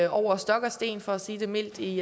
over stok og sten for at sige det mildt i